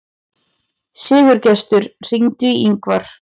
Sigurgestur, hringdu í Yngvar.